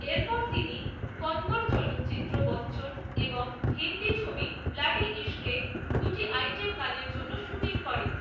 এরপর তিনি কন্নড় চলচ্চিত্র বচ্চন এবং হিন্দি ছবি ব্লাডি ইশকে দুটি আইটেম গানের জন্য শুটিং করেন।